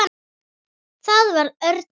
Það var og örn mikill.